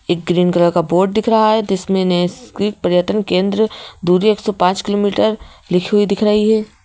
एक green colour का board दिख रहा है जिसमें नैसक्रिक पर्यतन केंद्र दूरी एक सौ पाँच किमी लिखी हुई दिख रही है।